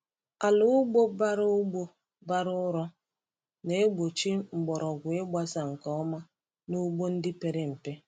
Ala ugbo bara ugbo bara ụrọ na-egbochi mgbọrọgwụ ịgbasa nke ọma n’ugbo ndị pere mpe.